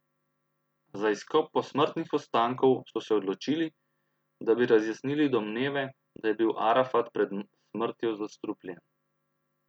Za izkop posmrtnih ostankov so se odločili, da bi razjasnili domneve, da je bil Arafat pred smrtjo zastrupljen.